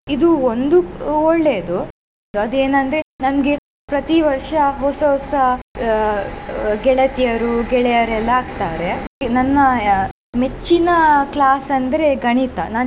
ಇದು ಒಂದು ಒಳ್ಳೆಯದು ಆದೇನಂದ್ರೆ ನನಗೆ ಪ್ರತಿ ವರ್ಷ ಹೊಸ ಹೊಸ ಅಹ್ ಗೆಳತಿಯರು ಗೆಳೆಯರೆಲ್ಲಾ ಆಗ್ತಾರೆ. ನನ್ನ ಆ ಮೆಚ್ಚಿನ class ಅಂದ್ರೆ ಗಣಿತ ನಾನ್.